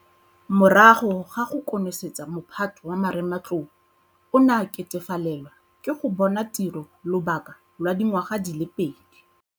Morago ga go konosetsa mo phato wa marematlou o ne a ketefalelwa ke go bona tiro lobaka lwa dingwaga di le pedi.